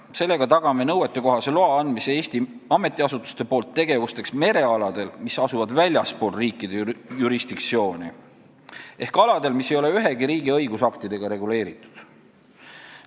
Sellega tagame, et Eesti ametiasutused saavad anda nõuetekohase loa tegevusteks merealadel, mis asuvad väljaspool riikide jurisdiktsiooni, ehk aladel, mis ei ole ühegi riigi õigusaktidega reguleeritud.